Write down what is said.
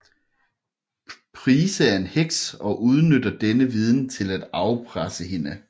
Price er en heks og udnytter denne viden til at afpresse hende